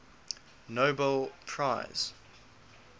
nobel prize